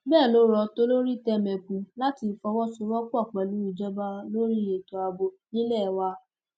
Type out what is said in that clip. bẹẹ ló rọ tolórítẹmẹpù láti fọwọsowọpọ pẹlú ìjọba lórí ètò ààbò nílé wa